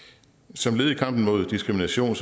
som led i kampen mod diskrimination